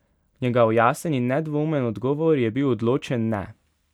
Njegov jasen in nedvoumen odgovor je bil odločen ne.